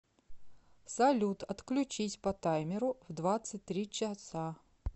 салют отключись по таймеру в двадцать три часа